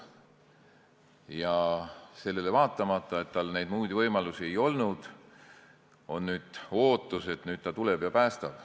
Ja sellele vaatamata, et tal neid muid võimalusi ei olnud, on nüüd ootus, et ta tuleb ja päästab.